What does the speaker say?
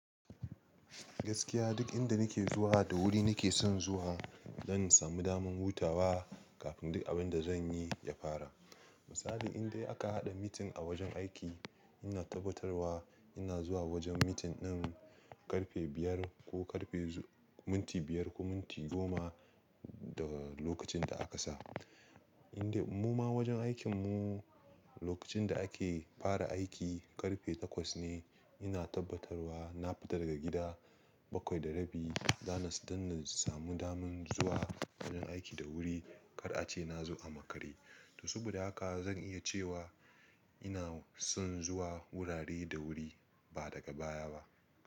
Gaskiya duk inda nake zuwa da wuri nake son zuwa don in samu daman hutawa kafin duk abun da zan yi ya fara. Misali indai aka haɗa meeting a wajen aiki, ina tabbatarwa ina zuwa wajen meeting ɗin ƙarfe biyar ko ƙarfe minti biyar ko minti goma daga lokacin da aka sa. Indai mu ma wajen aikin mu lokacin da ake fara aiki ƙarfe takwas ne, ina tabbatarwa na fita daga gida bakwai da rabi don na samu daman zuwa wajen aiki da wuri kar a ce na zo a makare. To saboda haka zan iya cewa ina son zuwa wurare da wuri ba daga baya ba.